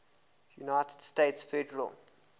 united states federal